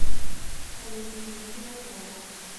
салют включи акома